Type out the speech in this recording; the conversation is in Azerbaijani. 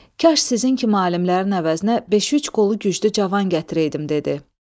Kaş sizin kimi alimlərin əvəzinə beş-üç qolu güclü cavan gətirəydim dedi.